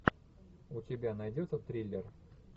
у тебя найдется триллер